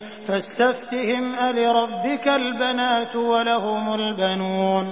فَاسْتَفْتِهِمْ أَلِرَبِّكَ الْبَنَاتُ وَلَهُمُ الْبَنُونَ